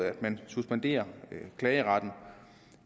at man suspenderer klageretten